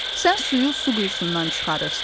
Sən suyu su quyusundan çıxarırsan.